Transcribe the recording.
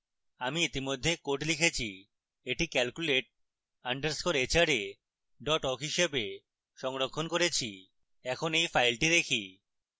আমি ইতিমধ্যে code লিখেছি এবং এটি calculate _ hra awk হিসাবে সংরক্ষণ করেছি এখন এই ফাইলটি দেখি